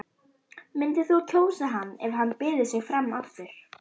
Myndir þú kjósa hann ef hann byði sig fram aftur?